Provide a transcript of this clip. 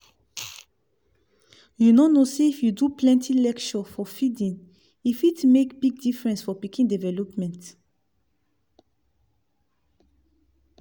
u no say if you do plenti lecture for feeding e fit make big difference for pikin development